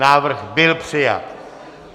Návrh byl přijat.